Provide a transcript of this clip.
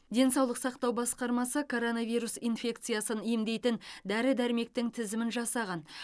денсаулық сақтау басқармасы короновирус инфекциясын емдейтін дәрі дәрмектің тізімін жасаған